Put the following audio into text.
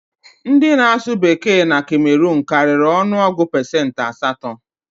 Ndị na-asụ Bekee na Kemeruun karịrị ọnụ ọgụ pesentị asatọ